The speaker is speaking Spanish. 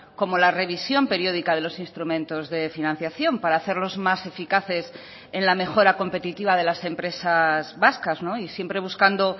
como la revisión periódica de los instrumentos de financiación para hacerlos más eficaces en la mejora competitiva de las empresas vascas y siempre buscando